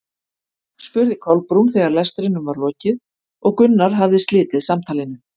spurði Kolbrún þegar lestrinum var lokið og Gunnar hafði slitið samtalinu.